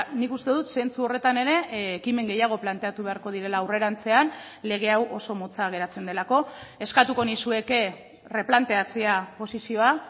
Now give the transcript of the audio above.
nik uste dut zentzu horretan ere ekimen gehiago planteatu beharko direla aurrerantzean lege hau oso motza geratzen delako eskatuko nizueke erreplanteatzea posizioa